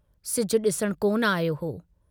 सिजु डिसण कोन आयो हो।